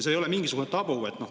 See ei ole mingisugune tabu.